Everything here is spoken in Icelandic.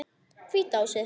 Hvíta húsið.